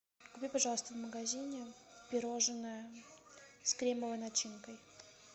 купи пожалуйста в магазине пирожное с кремовой начинкой